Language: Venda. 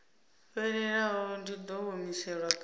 fhelelaho dzi ḓo humiselwa kha